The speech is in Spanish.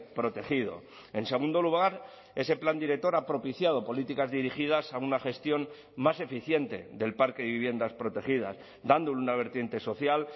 protegido en segundo lugar ese plan director ha propiciado políticas dirigidas a una gestión más eficiente del parque de viviendas protegidas dando una vertiente social